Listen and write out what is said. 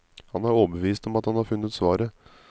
Han er overbevist om at han har funnet svaret.